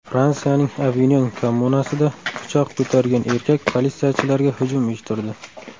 Fransiyaning Avinyon kommunasida pichoq ko‘targan erkak politsiyachilarga hujum uyushtirdi.